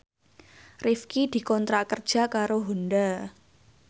Rifqi dikontrak kerja karo Honda